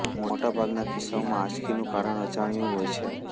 મોટા ભાગના કિસ્સામાં આંચકીનું કારણ અજાણ્યું હોય છે